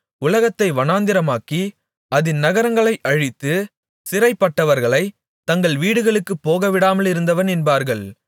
உலகத்தை வனாந்திரமாக்கி அதின் நகரங்களை அழித்து சிறைப்பட்டவர்களைத் தங்கள் வீடுகளுக்குப் போகவிடாமலிருந்தவன் என்பார்கள்